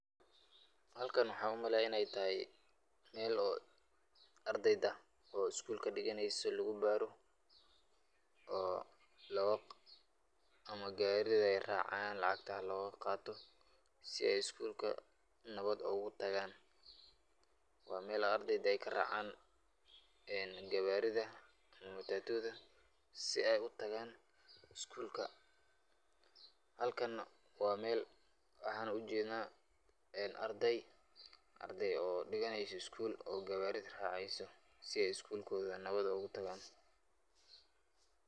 Halkan waxaa umaleeya inay tahay meel oo ardeyda oo iskuulka diganeyso lugubaaro oo ama gaarida ay raacaan lacagta loogu qaato si ay iskuulka nabad ugu tagaan. Waa meel ardeyda ay karaacaan gawaarida ama mataatuuda si ay u tagaan iskuulka. Halkan waa meel waxaana ujednaa arday arday oo dhiganeyso iskuul oo gawaarida raaceyso si ay iskuulkooda nabad ugu tagaan.